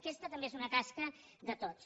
aquesta també és una tasca de tots